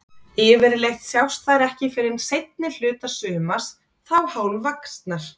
Yfirleitt sjást þær ekki fyrr en seinni hluta sumars, þá hálfvaxnar.